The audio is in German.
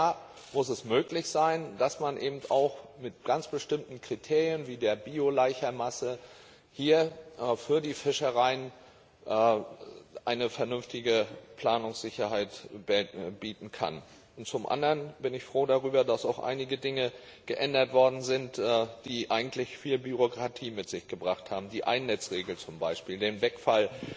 Und da muss es möglich sein, dass man eben auch mit ganz bestimmten Kriterien wie der Laicherbiomasse hier für die Fischereien eine vernünftige Planungssicherheit bieten kann. Zum anderen bin ich froh darüber, dass auch einige Dinge geändert worden sind, die eigentlich viel Bürokratie mit sich gebracht haben die Ein Netz Regel zum Beispiel, der Wegfall